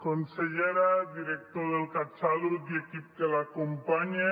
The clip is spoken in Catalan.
consellera i director del catsalut i equip que l’acompanya